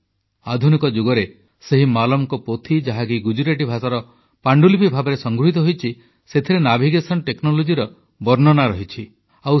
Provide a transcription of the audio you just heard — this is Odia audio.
ଆଧୁନିକ ଯୁଗରେ ସେହି ମାଲମଙ୍କର ପୋଥି ଯାହାକି ଗୁଜରାଟୀ ଭାଷାର ପାଣ୍ଡୁଲିପି ଭାବେ ସଂଗୃହୀତ ହୋଇଛି ସେଥିରେ ନାଭିଗେସନ ନେକନୋଲୋଜି ବା ଦିଗ ନିର୍ଣ୍ଣୟ ପ୍ରଯୁକ୍ତିର ବର୍ଣ୍ଣନା ରହିଛି